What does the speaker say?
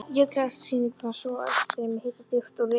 Líklegasta skýringin var sú, að uppstreymi hita djúpt úr iðrum